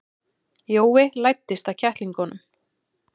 Jói læddist að kettlingunum.